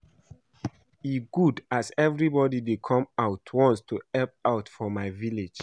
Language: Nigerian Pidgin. E good as everybody dey come out once to help out for my village